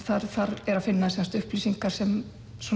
þar er að finna upplýsingar sem